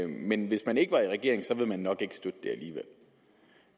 men hvis man ikke var i regering så ville man nok ikke støtte det alligevel